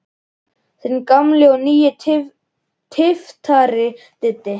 Þinn gamli og nýi tyftari, Diddi.